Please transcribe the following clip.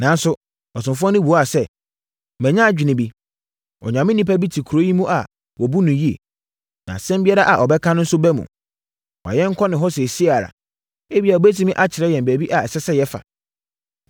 Nanso, ɔsomfoɔ no buaa sɛ, “Manya adwene bi, Onyame onipa bi te kuro yi mu a wɔbu no yie. Na asɛm biara a ɔbɛka nso ba mu. Ma yɛnkɔ ne hɔ seesei ara, ebia ɔbɛtumi akyerɛ yɛn baabi a ɛsɛ sɛ yɛfa.”